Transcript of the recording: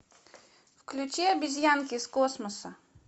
включи обезьянки из космоса